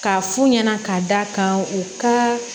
K'a f'u ɲɛna ka da kan u ka